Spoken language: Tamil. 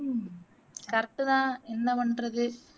உம் correct தான் என்ன பண்றது